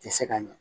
Tɛ se ka ɲɛ